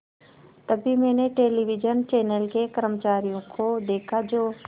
तभी मैंने television channel के कर्मचारियों को देखा जो